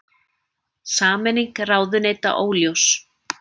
Sameining ráðuneyta óljós